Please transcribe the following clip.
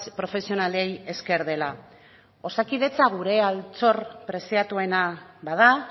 profesionalei esker dela osakidetza gure altxor preziatuena bada